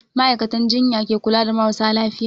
Ma'aikatan jinya ke kula da marasa lafiya.